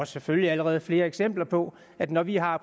selvfølgelig allerede flere eksempler på at når vi har